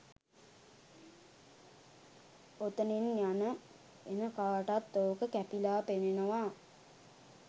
ඔතනින් යන එන කාටත් ඕක කැපිලා පෙනෙනවා.